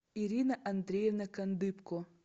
ирина андреевна кандыбко